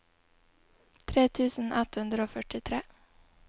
tre tusen ett hundre og førtitre